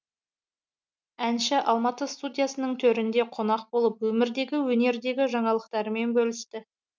әнші алматы студиясының төрінде қонақ болып өмірдегі өнердегі жаңалықтарымен бөлісті